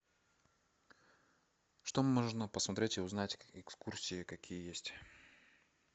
что можно посмотреть и узнать экскурсии какие есть